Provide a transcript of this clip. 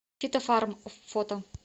фитофарм фото